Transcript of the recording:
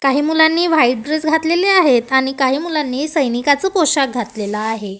काही मुलांनी white dress घातलेले आहेत आणि काही मुलांनी सैनिकाच पोशाख घातलेला आहे.